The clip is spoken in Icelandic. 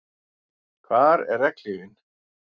Hvar er regnhlífin?